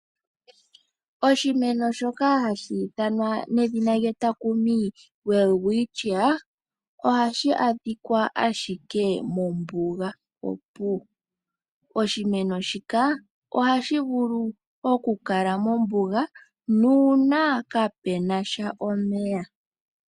Oshimeno shoka hashi thanwa nedhina lyetakumi Welwitschia . Ohashi adhikwa ashike mombuga opuwo. Oshimeno shika ohashi vulu okukala mombuga nuuna kaapena sha omeya.